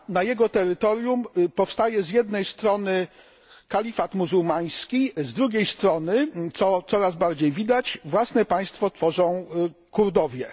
Na jego terytorium powstaje z jednej strony kalifat muzułmański, z drugiej strony co coraz bardziej widać własne państwo tworzą Kurdowie.